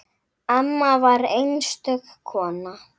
Amma var einstök kona.